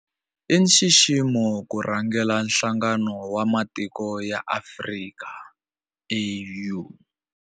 I nxiximo ku rhangela Nhlangano wa Matiko ya Afrika, AU.